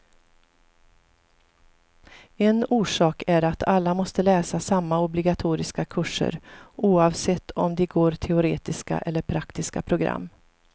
En orsak är att alla måste läsa samma obligatoriska kurser, oavsett om de går teoretiska eller praktiska program.